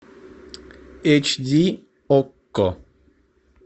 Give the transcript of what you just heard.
эйч ди окко